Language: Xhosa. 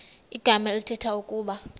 igama elithetha ukuba